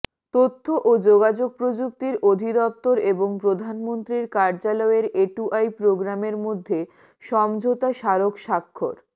তথ্য ও যোগাযোগ প্রযুক্তি অধিদপ্তর এবং প্রধানমন্ত্রীর কার্যালয়ের এটুআই প্রোগ্রামের মধ্যে সমঝোতা স্মারক স্বাক্ষর